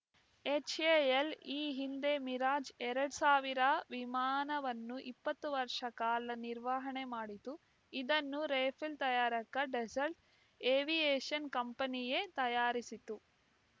HAL ಈ ಹಿಂದೆ Mirage ಎರಡ್ ಸಾವಿರ ವಿಮಾನವನ್ನು ಇಪ್ಪತ್ತು ವರ್ಷ ಕಾಲ ನಿರ್ವಹಣೆ ಮಾಡಿತ್ತು ಇದನ್ನು ರೆಫೇಲ್‌ ತಯಾರಕ ಡಸಾಲ್ಟ್‌ ಏವಿಯೇಶನ್‌ ಕಂಪನಿಯೇ ತಯಾರಿಸಿತ್ತು